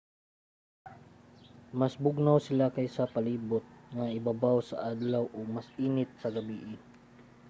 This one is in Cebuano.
mas bugnaw sila kaysa sa palibot nga ibabaw sa adlaw ug mas init sa gabii